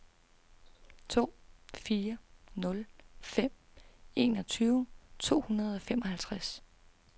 to fire nul fem enogtyve to hundrede og femoghalvtreds